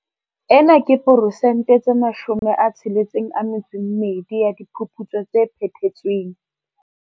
Ena ke poresente tse 62 ya diphuputso tse phethetsweng.